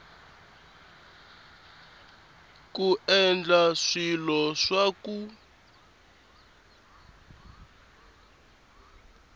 ku endla swilo swa ku